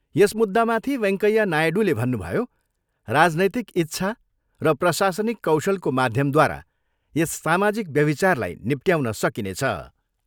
यस मुद्दामाथि वैङ्कैया नायडूले भन्नुभयो, राजनैतिक इच्छा र प्रशासनिक कौशलको माध्यमद्वारा यस सामाजिक व्यभिचारलाई निप्टयाउन सकिनेछ।